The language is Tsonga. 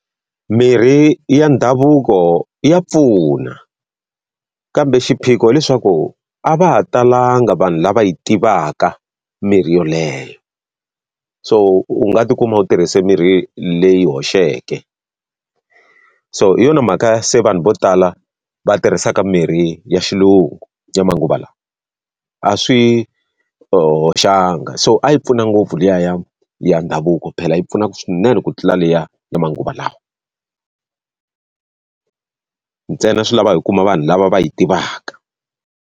Mirhi ya ndhavuko ya pfuna, kambe xiphiqo leswaku a va ha talanga vanhu lava yi tivaka mirhi yoleyo. So u nga ti kuma u tirhise mirhi leyi hoxeke. So hi yona mhaka se vanhu vo tala va tirhisaka mirhi ya xilungu ya manguva lawa. A swi hoxanga, so a yi pfuna ngopfu liya ya ya ndhavuko phela yi pfuna swinene ku tlula liya ya manguva lawa ntsena swi lava hi kuma vanhu lava va yi tivaka.